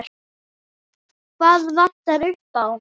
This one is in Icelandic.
Hvað vantaði upp á?